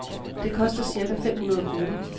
Det koster cirka fem hundrede kroner.